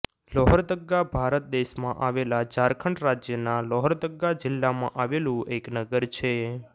લોહરદગ્ગા ભારત દેશમાં આવેલા ઝારખંડ રાજ્યના લોહરદગ્ગા જિલ્લામાં આવેલું એક નગર છે